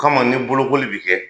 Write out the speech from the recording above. Kama ni bolokoli bi kɛ